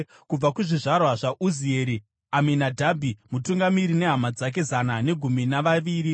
kubva kuzvizvarwa zvaUzieri, Aminadhabhi mutungamiri nehama dzake zana negumi navaviri.